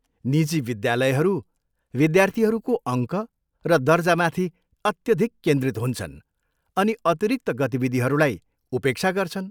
निजी विद्यालयहरू विद्यार्थीहरूको अङ्क र दर्जामाथि अत्यधिक केन्द्रित हुन्छन् अनि अतिरिक्त गतिविधिहरूलाई उपेक्षा गर्छन्।